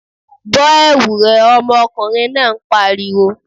Bọ́ ẹ̀wu rẹ! ọmọkùnrin náà pariwo.